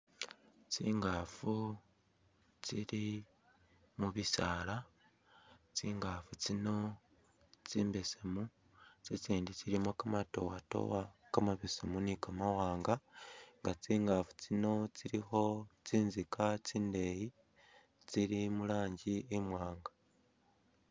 Tsingaafu tsili mu bisaala, tsingaafu tsino tsili tsimbesemu tsitsindi tsilimu kamadowadowa kamabesemu ni kamawaanga nga tsingaafu tsino tsilikho tsinzika tsindeeyi tsiili mu rangi imwaanga.